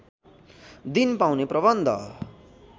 दिन पाउने प्रबन्ध